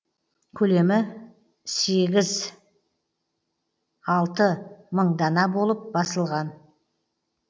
көлемі сегіз алты мың дана болып басылған